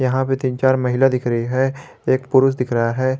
यहां पे तीन चार महिला महिला दिख रही है एक पुरुष दिख रहा है।